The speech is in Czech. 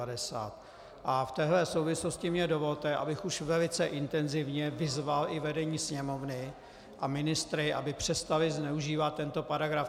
A v této souvislosti mi dovolte, abych už velice intenzivně vyzval i vedení Sněmovny a ministry, aby přestali zneužívat tento paragraf.